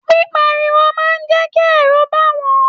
Pipariwo máa n jẹ kí ẹrú bá wọn.